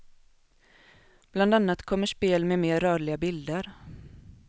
Bland annat kommer spel med mer rörliga bilder.